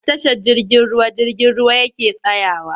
A tashar jirgin ruwa jirgin ruwa yake tsayawa.